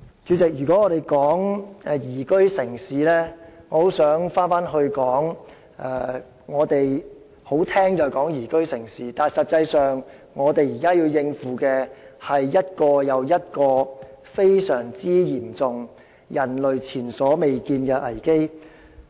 主席，說到宜居城市，我認為這只是一個比較動聽的說法，實際上我們現時需要應付的，是一個又一個非常嚴重、人類前所未見的危機，